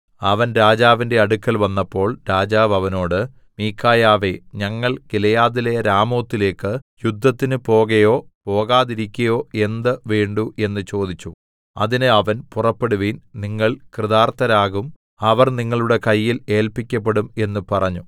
അവൻ രാജാവിന്റെ അടുക്കൽ വന്നപ്പോൾ രാജാവ് അവനോട് മീഖായാവേ ഞങ്ങൾ ഗിലെയാദിലെ രാമോത്തിലേക്കു യുദ്ധത്തിന് പോകയോ പോകാതിരിക്കയോ എന്ത് വേണ്ടു എന്ന് ചോദിച്ചു അതിന് അവൻ പുറപ്പെടുവിൻ നിങ്ങൾ കൃതാർത്ഥരാകും അവർ നിങ്ങളുടെ കയ്യിൽ ഏല്പിക്കപ്പെടും എന്നു പറഞ്ഞു